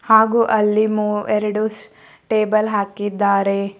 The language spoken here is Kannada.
ಹಾಗು ಅಲ್ಲಿ ಮು ಎರಡು ಟೇಬಲ್ ಹಾಕಿದ್ದಾರೆ.